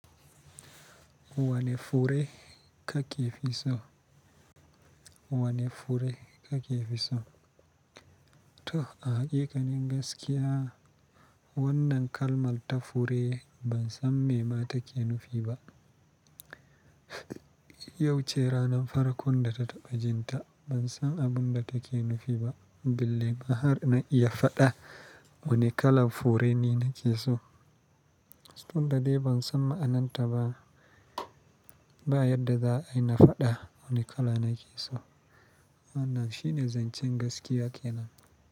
Wane fure ka ke fi so? Wane fure ka ke fi so? To a hakikanin gaskiya wannan kalmar ta fure ban san me ma take nufi ba. Yau ce ranan farkon da ta taɓa jinta. Ban san abun da take nufi ba, bille ma har na iya faɗa wane kalan fure ni nake so. Tun da dai ban san ma'anarta ba, ba yadda za ai na faɗa wane kala nake so. Wannan shine zancen gaskiya kenan.